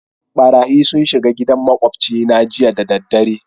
Ɓarayyi sun shiga gidan maƙwabci na jiya da dare.